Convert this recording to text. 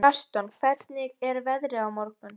Gaston, hvernig er veðrið á morgun?